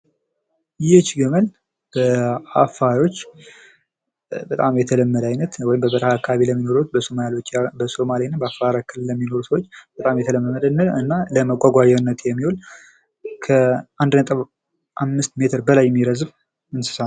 ይች ግመል በአፋሮች በጣም የተለመደ አይነት ወይም በበረሀ አካባቢ የሚኖሩ ሰዎች በጣም የተለመደና ለመጓጓዣነት የሚያገለግል ከ1.5 ሜትር በላይ የሚረዝም እንስሳ ነዉ።